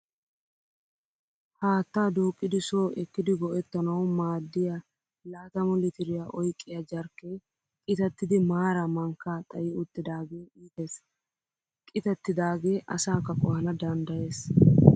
Haattaa duuqqidi so ekkidi go"ettanawu maaddiyaa laatamu litiriyaa oyiqqiya jarkkee qitattidi maaraa mankkaa xayi uttidaagee iites. Qitattidaagee asaakka qohana danddayes.